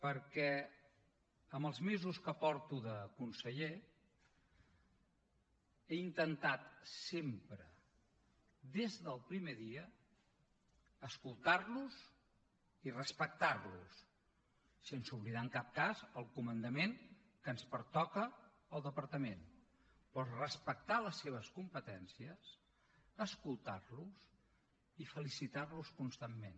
perquè amb els mesos que porto de conseller he intentat sempre des del primer dia escoltar los i respectar los sense oblidar en cap cas el comandament que ens pertoca al departament però respectar les seves competències escoltar los i felicitar los constantment